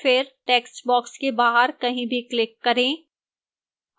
फिर textbox के बाहर कहीं भी click करें